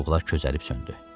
Çubuqlar közəlib söndü.